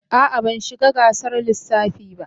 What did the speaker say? A'a, ban shiga gasar lissafi ba.